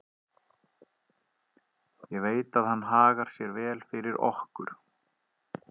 Ég veit að hann hagar sér vel fyrir okkur.